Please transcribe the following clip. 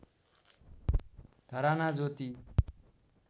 धराना ज्योति